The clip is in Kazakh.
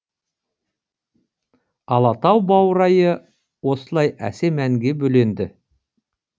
алатау баурайы осылай әсем әнге бөленді